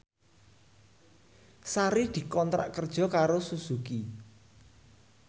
Sari dikontrak kerja karo Suzuki